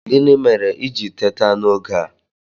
Gịnị mere i ji teta n'oge a?